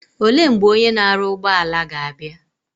Ole mgbe Onye na aru ugboala ga abia?